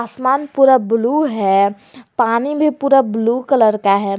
आसमान पूरा ब्लू है पानी भी पूरा ब्लू कलर का है।